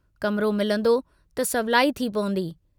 कमरो मिलंदो त सवलाई थी पवंदी।